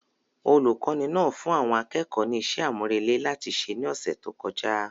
Olùkọ́ni náà fún àwọn akẹ́kọ̀ọ́ ní iṣẹ́ àmúrelé láti ṣe ní ọ̀sẹ̀ tó kọjá